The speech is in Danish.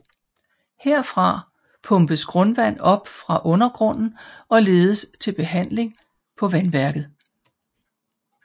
Herfra pumpes grundvand op fra undergrunden og ledes til behandling på vandværket